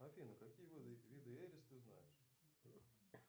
афина какие виды эрис ты знаешь